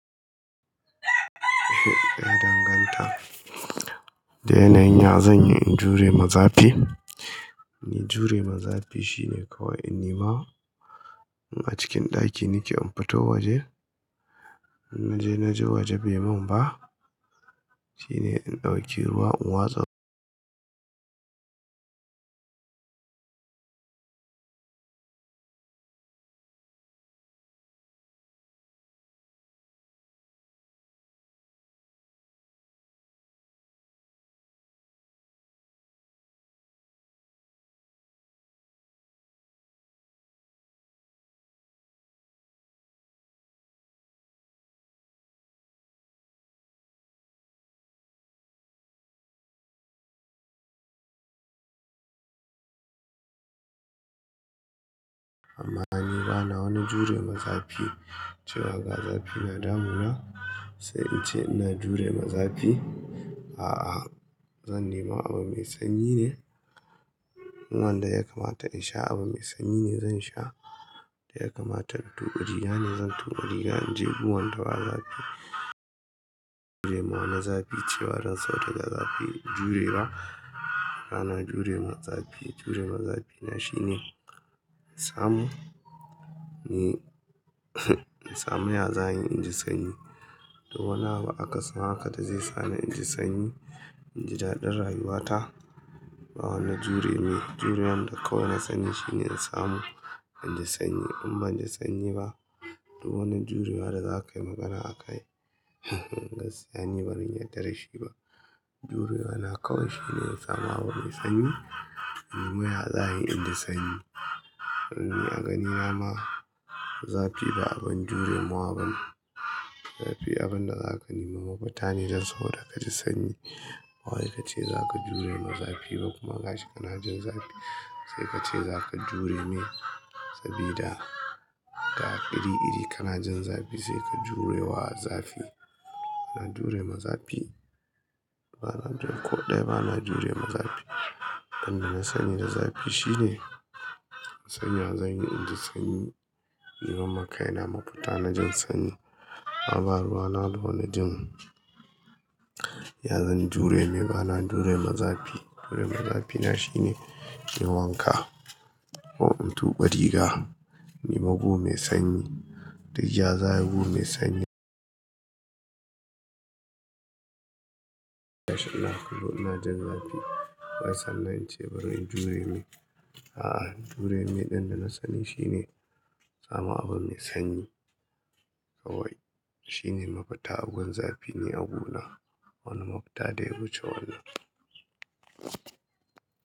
Eh ya danganta. Da yana yin ya, zan yi in jure ma zafi. In jure ma zafi shine kawai in nema a cikin ɗaki nake, in fito waje, na je na ji waje bai mun ba. Shine in ɗauki ruwa in watsa amma ni bana wani jure ma zafi, cewa ga zafi na damuna, sai in ce ina jure ma zafi. A'a zan nema abu mai sanyi ne. In wanda ya kamata in sha abu mai sanyi ne zan sha. Ya kamata in tuɓe riga ne zan tuɓe riga. In je unguwan da ba zafi. Jure ma wani zafi cewa dan sau daga zafi in jure ba. Bana jure ma zafi. Jure ma zafina shine in samu, me, in samu yaza in yi in ji sanyi. Duk wani abu akasin haka da zai sa na in ji sanyi. In ji daɗin rayuwata. Ba wani jure mai. Jurewan da kawai na sani shine in samu in ji sanyi in ban ji sanyi ba. Duk wani jurewa da za ka yi magana a kai, gaskiya ni bazan yarda da shi ba. Jurewa na kawai shine in samu abu mai sanyi, in nemi yaza in yi in ji sanyi. A ganina ma zafi ba abin jurewa bane. Zafi abin da zaka nema mafita ne dan sau da ka ji sanyi. Ba wai ka ce za ka jure ma zafi ba kuma gashi ka na jin zafi. Sai ka ce za ka jure mai sabida, ga iri-iri ka na jin zafi sai ka jure wa zafi. Ba na jure mazafi. Ba na jure ko ɗaya ba na jure mazafi. Abin da na sani da zafi shine san ya zanyi in ji sanyi. Neman ma kai na mafita na jin sanyi. Kuma ba ruwa na da wani jin, ya zan jure mai. Ba na jure ma zafi. Jure m zafina shine in wanka, ko in tuɓe riga, in nemi gu mai sanyi. Da yaza abu mai sanyi. Na kullum ina jin zafi. Wai sannan in ce bari in jure mai. A'a jure mai ɗin da na sani shine sama abu mai sanyi kawai. Shine mafita abun zafi ne ni a guna. Wani mafita ɗaya ce wannan.